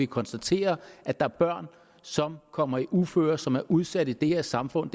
konstatere at der er børn som kommer i uføre og som er udsatte i det her samfund